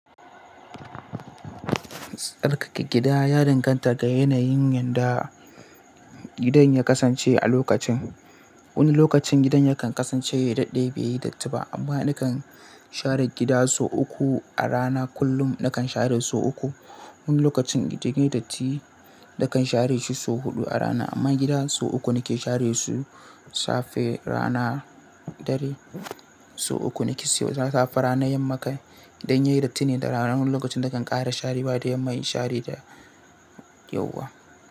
Sarkar gida ya danganta ga yanayin yanda gidan ya kasance a lokacin. Wani lokacin gidan yakan kasance daidai bai yi datti ba, amma nakan share gida sau uku a rana. Kullum nakan share sau uku. Wani lokacin gidan yayi datti, nakan share shi sau huɗu a rana, amma gida sau uku nake share su safe rana ɗari sau uku nake saiwa safe ranar yamma kai. Gidan yayi datti ne da rana. Wani lokacin nakan ƙara share da yamma in share da yauwa.